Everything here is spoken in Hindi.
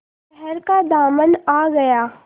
शहर का दामन आ गया